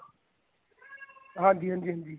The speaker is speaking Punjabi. ਹਾਂਜੀ ਹਾਂਜੀ ਹਾਂਜੀ